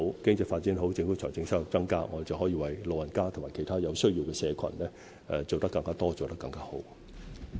經濟發展好，政府的財政收入便會增加，我們便可以為老人家和其他有需要的社群做得更多和更好。